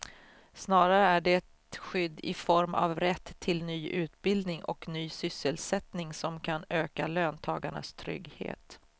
Snarare är det skydd i form av rätt till ny utbildning och ny sysselsättning som kan öka löntagarnas trygghet.